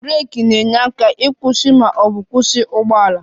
Breeki na-enyere aka ịkwụsị ma ọ bụ kwụsị ụgbọ ala